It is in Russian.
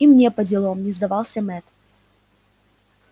и мне поделом не сдавался мэтт